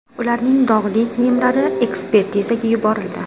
Ularning dog‘li kiyimlari ekspertizaga yuborildi.